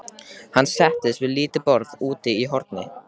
Hann settist við lítið borð úti í horni.